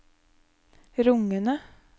rungende